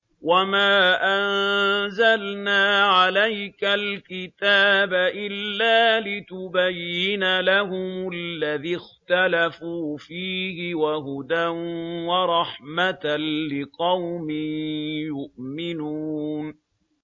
وَمَا أَنزَلْنَا عَلَيْكَ الْكِتَابَ إِلَّا لِتُبَيِّنَ لَهُمُ الَّذِي اخْتَلَفُوا فِيهِ ۙ وَهُدًى وَرَحْمَةً لِّقَوْمٍ يُؤْمِنُونَ